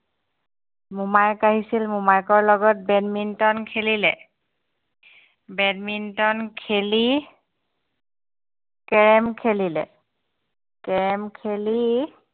মোমায়েক আহিছিল মোমায়েকৰ লগত badminton খেলিলে badminton খেলি carrom খেলিলে carrom খেলি